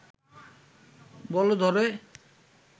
বলে ধরে